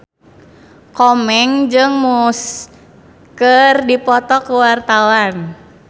Komeng jeung Muse keur dipoto ku wartawan